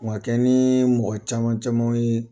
ni mɔgɔ caman camanw ye.